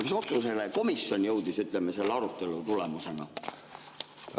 Mis otsusele komisjon jõudis, ütleme, selle arutelu tulemusena?